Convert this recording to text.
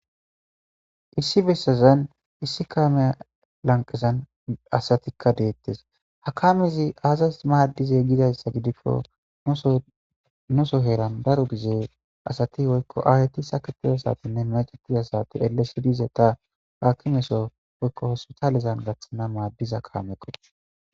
Issi bessazan issi kaameya lanqezan asatikka deettes hakamizi aazaz maaddize gidayssa gidikko nuso heeran daro gizee asati woykko aayeti saketiza satinne macetizasati elle sidize ta haakimeso woykko hosu talezan gaththana maaddiza kaamekko.